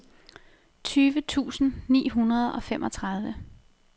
tyve tusind ni hundrede og femogtredive